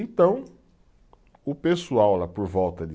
Então, o pessoal lá por volta de